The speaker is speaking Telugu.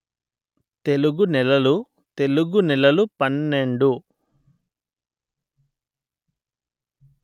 తెలుగు నెలలు తెలుగు నెలలు పన్నెండు